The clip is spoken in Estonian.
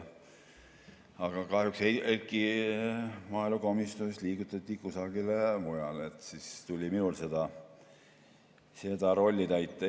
Aga kahjuks liigutati Heiki maaelukomisjonist kusagile mujale ja siis tuli minul seda rolli täita.